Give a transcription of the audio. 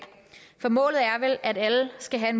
for målet er vel at alle skal have